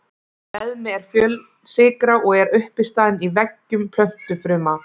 Beðmi er fjölsykra og er uppistaðan í veggjum plöntufruma.